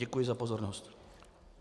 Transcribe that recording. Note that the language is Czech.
Děkuji za pozornost.